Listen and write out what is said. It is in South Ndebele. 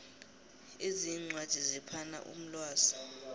ezinye iincwadi ziphana umlwazi